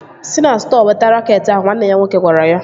Si na stọọ weta raket ahụ! Nwanne ya nwoke gwara ya